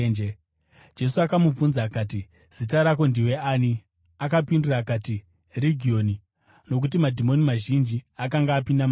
Jesu akamubvunza akati, “Zita rako ndiwe ani?” Akapindura akati, “Regioni,” nokuti madhimoni mazhinji akanga apinda maari.